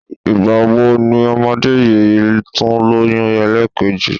Ìgbà wo ni ọmọdé yìí tún lóyún ẹlẹ́ẹ̀kejì?